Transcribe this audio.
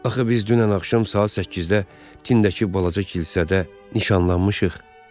Axı biz dünən axşam saat 8-də tindəki balaca kilsədə nişanlanmışıq?